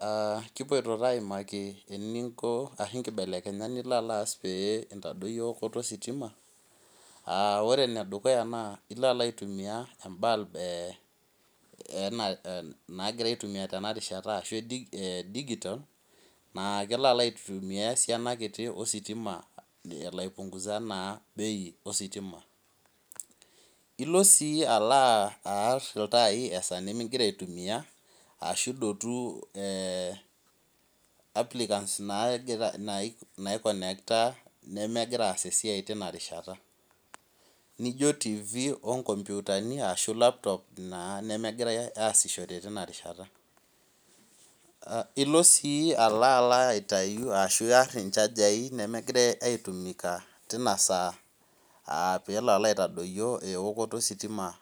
Aa kipoito aimaki naibelekenyat ninko peimbelekeny eokoto ositima aa ore enedukuya na ilo aitumia ebalbnagirai aitumia tenarishata e digital na kelo aitumia esiani kiti ositima elo aipunguza eokooto ositima ilo si aar iltai migira aitumia ashu idotu nemegira aas esiai tinakataa nijo tifi, nkomputa olaptop nemegira aasishore tenarishata ilo si alo aitau inchajai nemegira aitumia pelo aitadoyio eokoto ositima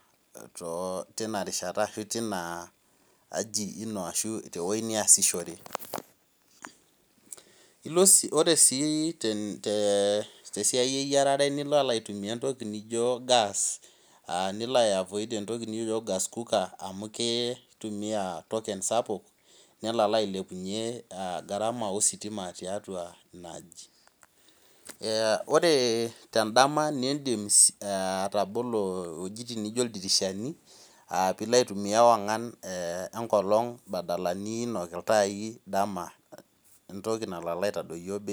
tinarishata ashu tinaaji ino qshu tewoi niasishore ore si tesiai nijo eyiarare nilo aitumia entoki nijo gas amu kitumia token sapuk nelo ailepunye garama ositima tiatua inaaji ore dama nilo abol ldirishani pilo aitumia ewangan enkaji entoki nalo aitadoyio bei.